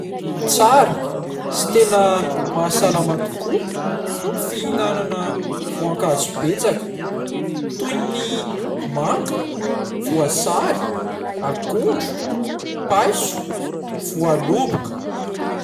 Tsara sy tena mahasalama tokoa ny fihinanana voankazo betsaka toy ny manga, voasary, akondro, paiso, voaloboka.